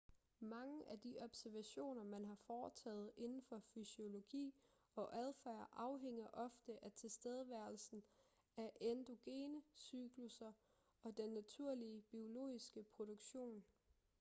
mange af de observationer man har foretaget indenfor fysiologi og adfærd afhænger ofte af tilstedeværelsen af endogene cyklusser og den naturlige biologiske produktion